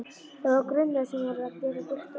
Það var grunnur sem hún varð að geta byggt á.